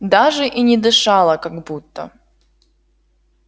даже и не дышала как будто